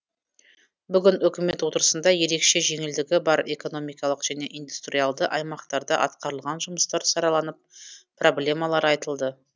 бүгін үкімет отырысында ерекше жеңілдігі бар экономикалық және индустриялды аймақтарда атқарылған жұмыстар сараланып проблемалар айтылды